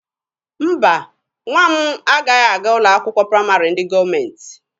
Mba, nwa m agaghị aga ụlọ akwụkwọ praịmarị ndị gọọmenti.